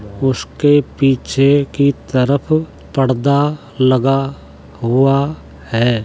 उसके पीछे की तरफ पर्दा लगा हुआ है।